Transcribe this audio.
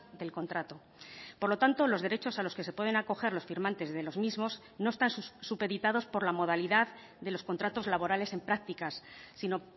del contrato por lo tanto los derechos a los que se pueden acoger los firmantes de los mismos no están supeditados por la modalidad de los contratos laborales en prácticas sino